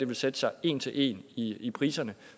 vil sætte sig en til en i i priserne